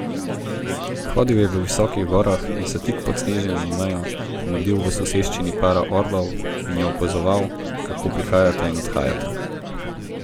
Hodil je po visokih gorah in se tik pod snežno mejo mudil v soseščini para orlov in ju opazoval, kako prihajata in odhajata.